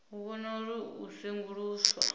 u vhona uri u senguluswa